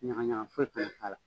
Yagayaga foyi kana k'a la.